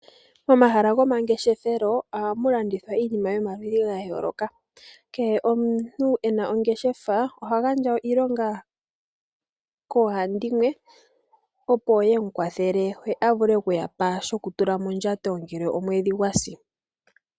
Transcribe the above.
Momahala goma ngeshefelo ohamu landithwa iinima yomaludhi gayooloka. Kehe omuntu ena ongeshefa oha gandja iilonga koohandimwe opo yemu kwathele ye avule okuyapa shokutula mondjato ngele omwedhi gwasi .